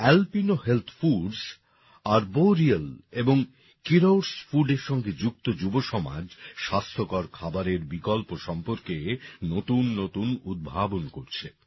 Alpino health foods Arboreal এবং Kiros Foodএর সঙ্গে যুক্ত যুবসমাজ স্বাস্থ্যকর খাবারের বিকল্প সম্পর্কে নতুন নতুন উদ্ভাবন করছে